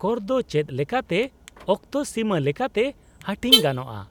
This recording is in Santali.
-ᱠᱚᱨ ᱫᱚ ᱪᱮᱫᱞᱮᱠᱟᱛᱮ ᱚᱠᱛᱚᱥᱤᱢᱟᱹ ᱞᱮᱠᱟᱛᱮ ᱦᱟᱹᱴᱤᱧ ᱜᱟᱱᱚᱜᱼᱟ ?